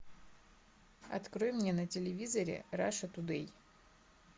открой мне на телевизоре раша тудей